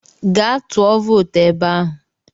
Gaa tụọ vootu ebe ahụ!